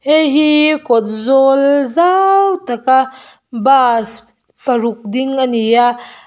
hei hi kawt zawl zau tak a bus paruk ding a ni a.